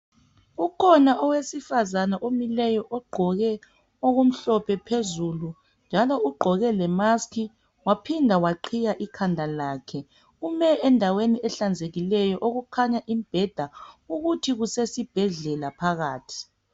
ukhona omileyo ogqoke okumhlophe phezulu njalo ugqoke le mask waphinda waqhiya ikhandalakhe ume endaweni ehlanzekileyo okukhanya imibheda ukuthi kusesibhedlela phakathi